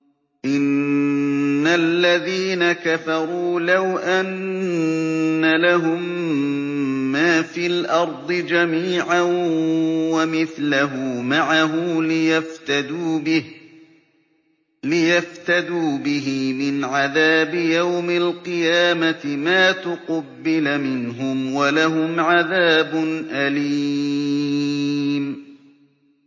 إِنَّ الَّذِينَ كَفَرُوا لَوْ أَنَّ لَهُم مَّا فِي الْأَرْضِ جَمِيعًا وَمِثْلَهُ مَعَهُ لِيَفْتَدُوا بِهِ مِنْ عَذَابِ يَوْمِ الْقِيَامَةِ مَا تُقُبِّلَ مِنْهُمْ ۖ وَلَهُمْ عَذَابٌ أَلِيمٌ